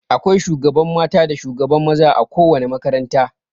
Akwai shugaban mata da shugaban maza a ko wani makaranta.